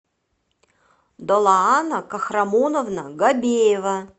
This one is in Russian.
долаана кахрамоновна гобеева